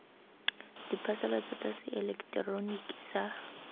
diphasalatso tsa se eleketeroniki sa